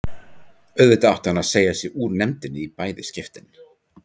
Auðvitað átti hann að segja sig úr nefndinni í bæði skiptin.